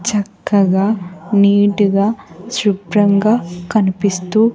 చక్కగా నీట్ గా శుభ్రంగా కనిపిస్తూ--